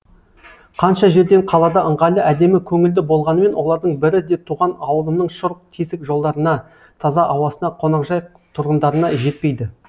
қанша жерден қалада ыңғайлы әдемі көңілді болғанымен олардың бірі де туған ауылымның шұрық тесік жолдарына таза ауасына қоңақжай тұрғындарына жетпейді